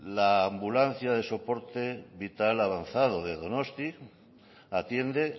la ambulancia de soporte vital avanzado de donostia atiende